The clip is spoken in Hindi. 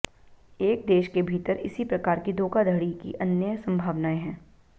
एक देश के भीतर इसी प्रकार की धोखाधड़ी की अन्य संभावनाएं हैं